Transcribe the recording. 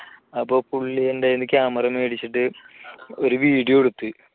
അപ്പൊ പുള്ളി എന്റെ കൈയിൽനിന്ന് camera മേടിച്ചിട്ട് ഒരു video എടുത്തു